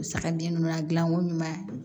Sagaden nunnu ya dilan ko ɲuman ye